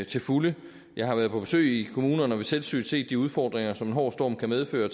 til fulde jeg har været på besøg i kommunerne og ved selvsyn set de udfordringer som en hård storm kan medføre og